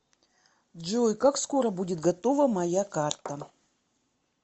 джой как скоро будет готова моя карта